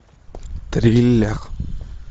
триллер